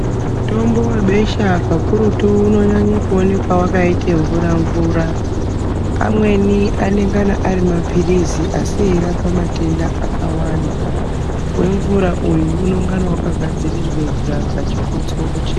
Mitombo webesha kakurutu unonyanye kuonekwa wakaite mvura-mvura .Amweni anengana ari maphilizi asi eirapa matenda akawanda. Wemvura uyu, unongana wakagadzirirwe chikotsoro chega.